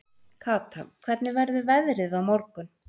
Kata, hvernig verður veðrið á morgun?